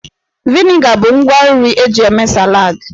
Vịnịga bụ ngwa nri eji eme saladị.